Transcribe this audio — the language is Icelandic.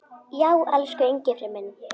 Já, elsku Engifer minn.